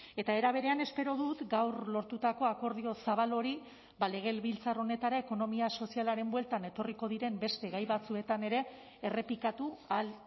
eta era berean espero dut gaur lortutako akordio zabal hori legebiltzar honetara ekonomia sozialaren bueltan etorriko diren beste gai batzuetan ere errepikatu ahal